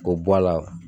K'o bɔ a la